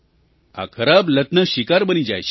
આ ખરાબ લતના શિકાર બની જાય છે